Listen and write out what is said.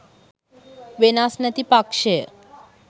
වෙනස් නැති පක්ෂ ය.